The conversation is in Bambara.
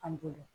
An bolo